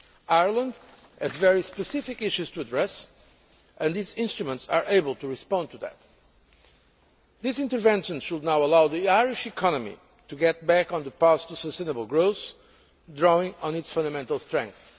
Ireland has very specific issues to address, and these instruments are able to respond to that. This intervention should now allow the Irish economy to get back on the path to sustainable growth, drawing on its fundamental strengths.